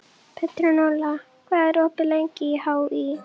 Petronella, hvað er opið lengi í HÍ?